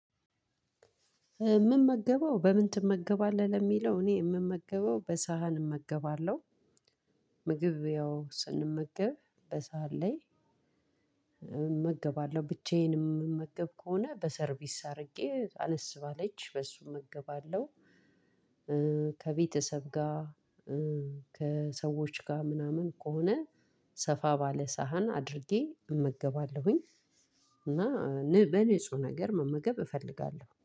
ምመገበው በምን ትመገባለህ? ለሚለው እኔ ምመገበው በሳህን እመገባለሁ። ምግብ ያው ስንመገብ በሳል ላይ። እመገባለሁ ብቻዬን የምመገብ ከሆነ በሰርቪስ አድርጌ አነስ ባለች በሱ እገባለሁ። ከቤተሰብ ጋ ከሰዎች ጋ ምናምን ከሆነ ሰፋ ባለ ሳህን አድርጌ እመገባለሁኝ። እና በንጹህ ነገር መመገብ እፈልጋለሁ